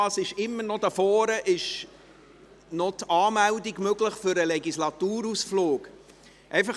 Hier vorne ist immer noch die Anmeldung für den Legislaturausflug möglich.